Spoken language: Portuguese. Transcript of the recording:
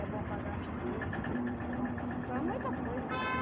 É bom para gastrite, é bom para para muita coisa, sabe?